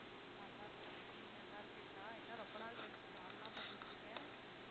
நல்லா இருக்கேன் நீங்க நல்லா இருக்கீங்களா என்ன ரொம்ப நாள் கழிச்சு call லாம் பண்ணிருக்கீங்க